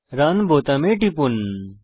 run বোতামে টিপুন